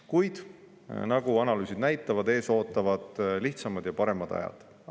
Kuid nagu analüüsid näitavad, ees ootavad lihtsamad ja paremad ajad.